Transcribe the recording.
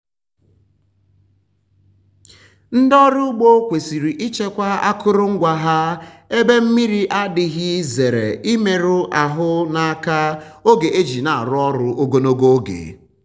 ndị ọrụ ugbo kwesịrị ichekwa akụrụngwa ha ebe mmri adịghị zere imeru um ahụ n’aka oge e ji ya arụ ọrụ ogologo oge.